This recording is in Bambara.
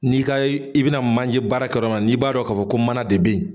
N'i ka, i bɛna manje baara kɛ yɔrɔ min na, n'i b'a dɔn ka fɔ ko mana de be yen